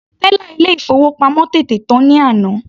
Tẹ́là ilé ìfowópamọ́ tètè tán ní àná.